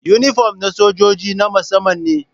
Inifom ɗin sojoji na musamman ne